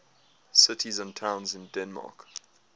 cities and towns in denmark